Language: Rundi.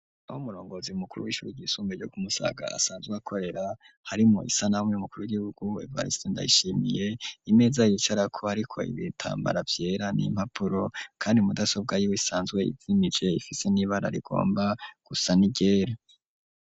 Aho umurongozi mukuru w'ishure ryisumbuye ryo kumusaga asanzwe akorera harimwo isanamu y,umukuru w'igihugu Evariste Ndayishimiye, imeza yicarako iriko ibitambara vyera n,impapuro, kandi mudasobwa y'iwe isanzwe izimije ifise n'ibara rigomba gusa ni ryera.